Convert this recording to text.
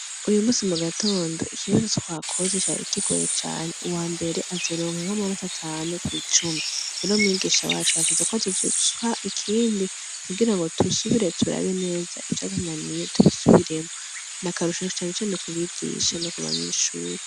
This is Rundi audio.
Uyu musi mu gatondo ikibazo twakoze cari kigoye cane, uwambere azoronka nk'amanota atanu kw'icumi. Rero umwigisha basha yavuze ko azoduha ikindi kugirango dusubire turabe neza ivyatunaniye, tubisubiremwo. Ni akarusho cane cane ku mwigisha no ku banyeshure.